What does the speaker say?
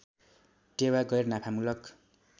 टेवा गैर नाफामुलक